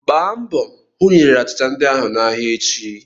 Gbaa mbọ hụ na ị rere achịcha ndị ahụ n'ahịa echi!